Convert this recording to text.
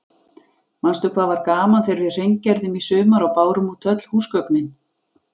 Manstu hvað var gaman þegar við hreingerðum í sumar og bárum út öll húsgögnin.